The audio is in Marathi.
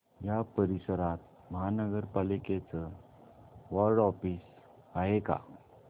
या परिसरात महानगर पालिकेचं वॉर्ड ऑफिस आहे का